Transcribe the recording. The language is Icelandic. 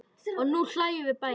Og nú hlæjum við bæði.